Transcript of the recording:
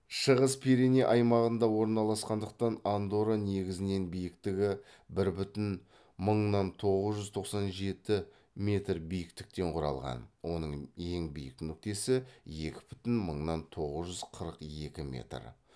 шығыс пиреней аймағында орналасқандықтан андора негізінен биіктігі бір бүтін мыңнан тоғыз жүз тоқсан жеті метр биіктіктен құралған оның ең биік нүктесі екі бүтін мыңнан тоғыз жүз қырық екі метр